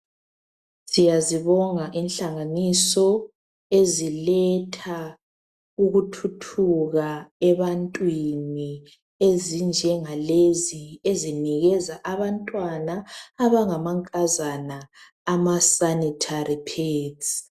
Siyazibonga inhlanganiso eziletha ukuthuthuka ebantwini ezinjengalezi ezinikeza abantwana abangamankazana ama sanitary pads.